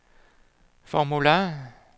formular